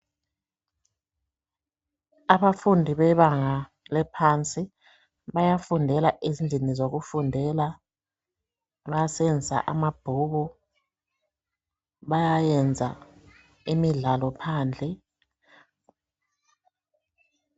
abafundi bebanga laphansi bayafundela ezindlini zokufundela bayasebenzisa amabhuku bayayenza imidlalo phandle